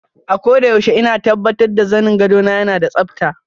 Akoda yaushe ina tabbatar zanin gwado na yana da tsabta.